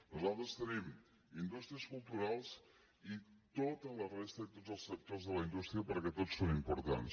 nosaltres tenim indústries culturals i tota la resta i tots els sectors de la indústria perquè tots són importants